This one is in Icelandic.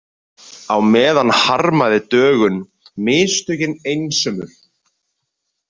Á meðan harmaði Dögun mistökin einsömul.